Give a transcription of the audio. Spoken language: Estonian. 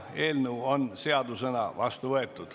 Eelnõu on seadusena vastu võetud.